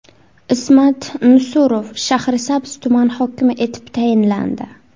Ismat Nusurov Shahrisabz tumani hokimi etib tayinlandi.